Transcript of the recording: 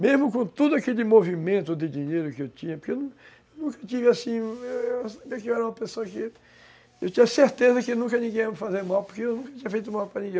Mesmo com todo aquele movimento de dinheiro que eu tinha, porque eu nunca tive assim... Eu era uma pessoa que... Eu tinha certeza que nunca ninguém ia me fazer mal, porque eu nunca tinha feito mal para ninguém.